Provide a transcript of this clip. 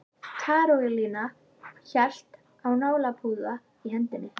Karólína hélt á nálapúða í hendinni.